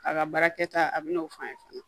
A ka baarakɛta a bɛn'o fɔ an ye fana